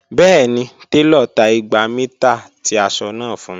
Bẹẹni, telo ta igba mita ti aṣọ naa fun mi.